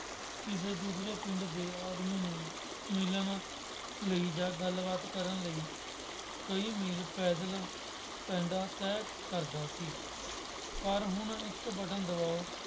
ਕਿਸੇ ਦੂਸਰੇ ਪਿੰਡ ਦੇ ਆਦਮੀ ਨੂੰ ਮਿਲਣ ਲਈ ਜਾਂ ਗੱਲਬਾਤ ਕਰਨ ਲਈ ਕਈ ਮੀਲ ਪੈਦਲ ਪੈਂਡਾਂ ਤਹਿ ਕਰਦਾ ਸੀ। ਪਰ ਹੁਣ ਇੱਕ ਬਟਨ ਦਬਾਉ